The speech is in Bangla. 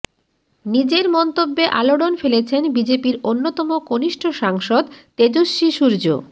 নিজের মন্তব্যে আলোড়ন ফেলেছেন বিজেপির অন্যতম কনিষ্ঠ সাংসদ তেজস্বী সূর্য